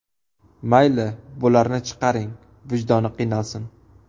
Mayli, bularni chiqaring, vijdoni qiynalsin.